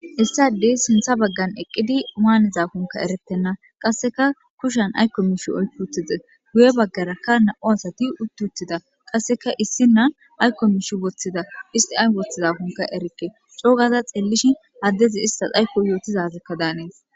Issadey sintha baggan eqqidi maanezakunka erettenna qasseka kushan aykko mishi oyfutize guye baggarakka na'u asati uttuutida qasseka issi na aykko mishi woththida isti ay woththizakonka erikke coogaza xeellishi addezi istas aykko yootizazekka daanees